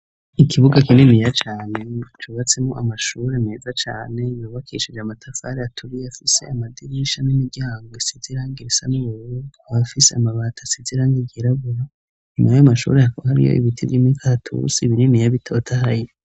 Ikibuga kininiya cane cubatsemo amashure meza cane yubakishije amatafari aturiye afise amadirisha n'imiryango isize irangi risa n'ubururu ikaba ifise amabati asize irangi ryirabura nyuma yayo mashure yakaba hariyo ibiti vy'imikaratusi bininiya bitotahaye.